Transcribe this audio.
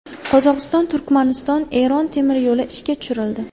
Qozog‘iston−Turkmaniston−Eron temir yo‘li ishga tushirildi.